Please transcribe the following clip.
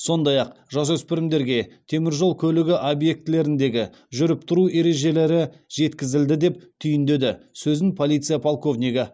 сондай ақ жасөспірімдерге темір жол көлігі объектілеріндегі жүріп тұру ережелері жеткізілді деп түйіндеді сөзін полиция подполковнигі